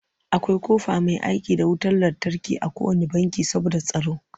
Akwai ƙofa mai aiki da wutar lantarki a kowanne banki saboda tsaro.